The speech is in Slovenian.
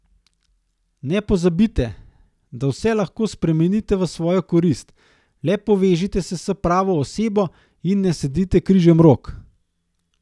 Ne pozabite, da vse lahko spremenite v svojo korist, le povežite se s pravo osebo in ne sedite križem rok.